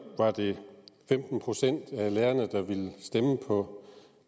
var det femten procent af lærerne der ville stemme på